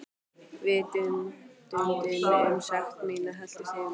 Vitundin um sekt mína helltist yfir mig.